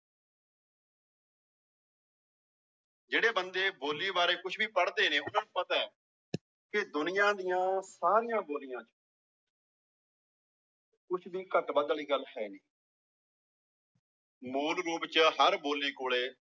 ਜਿਹੜੇ ਬੰਦੇ ਬੋਲੀ ਬਾਰੇ ਕੁਛ ਵੀ ਪੜ੍ਹਦੇ ਨੇ ਉਹਨਾਂ ਨੂੰ ਪਤਾ ਹੈ ਕਿ ਦੁਨੀਆਂ ਦੀਆਂ ਸਾਰੀਆਂ ਬੋਲੀਆਂ ਚ ਕੁਛ ਵੀ ਘੱਟ ਵੱਧ ਵਾਲੀ ਗੱਲ ਹੈ ਨੀ ਮੂਲ ਰੂਪ ਚ ਹਰ ਬੋਲੀ ਕੋਲੇ